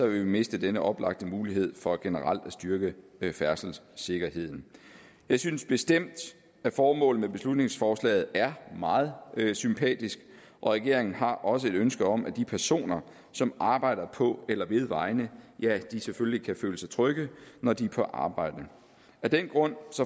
vi miste denne oplagte mulighed for generelt at styrke færdselssikkerheden jeg synes bestemt at formålet med beslutningsforslaget er meget sympatisk og regeringen har også et ønske om at de personer som arbejder på eller ved vejene selvfølgelig kan føle sig trygge når de er på arbejde af den grund